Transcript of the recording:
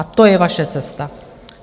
A to je vaše cesta.